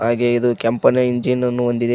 ಹಾಗೆ ಇದು ಕೆಂಪನೆ ಎಂಜಿನ್ ಅನ್ನು ಹೊಂದಿದೆ.